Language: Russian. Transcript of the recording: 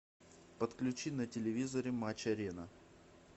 подключи на телевизоре матч арена